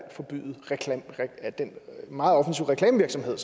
at forbyde den meget offensive reklamevirksomhed